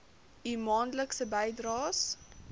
u maandelikse bydraes